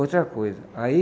Outra coisa, aí...